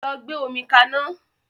Lọ gbe omi ka ná!